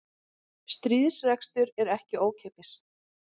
Stríðsrekstur er ekki ókeypis